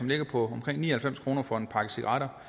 ligger på omkring ni og halvfems kroner for en pakke cigaretter